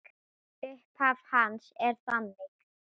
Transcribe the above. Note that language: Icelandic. Upphaf hans er þannig